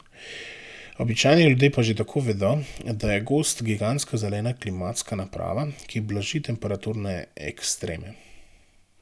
Običajni ljudje pa že tako vedo, da je gozd gigantska zelena klimatska naprava, ki blaži temperaturne ekstreme.